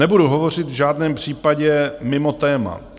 Nebudu hovořit v žádném případě mimo téma.